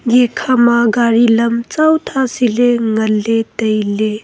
ya khama gari lam tsao tha siley ngan ley tailey.